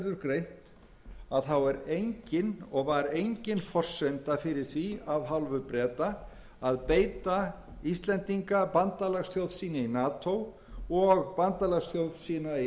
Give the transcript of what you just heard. best verður greint er engin og var engin forsenda fyrir því af hálfu breta að beita íslendinga bandalagsþjóð sína í nato og bandalagsþjóð sína í evrópska efnahagssambandinu